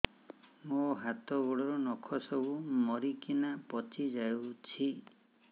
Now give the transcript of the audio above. ମୋ ହାତ ଗୋଡର ନଖ ସବୁ ମରିକିନା ପଚି ଯାଉଛି